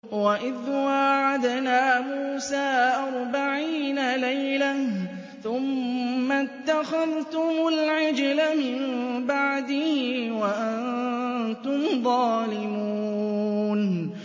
وَإِذْ وَاعَدْنَا مُوسَىٰ أَرْبَعِينَ لَيْلَةً ثُمَّ اتَّخَذْتُمُ الْعِجْلَ مِن بَعْدِهِ وَأَنتُمْ ظَالِمُونَ